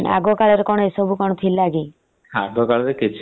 ଆଗ କାଳରେ ଏସବୁ କଣ ଥିଲା କି।